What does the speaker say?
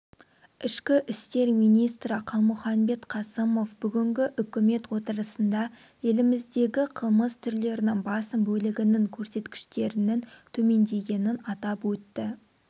ішкі істер министрі қалмұханбет қасымов бүгінгі үкімет отырысында еліміздегіқылмыс түрлерінің басым бөлігінің көрсеткіштерінің төмендегенін атап өтті